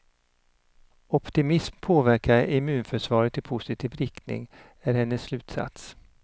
Optimism påverkar immunförsvaret i positiv riktning är hennes slutsats.